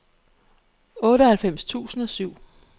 otteoghalvfems tusind og syv